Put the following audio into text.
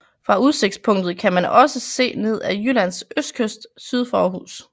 Fra udsigstpunktet kan man også se ned ad Jyllands østkyst syd for Aarhus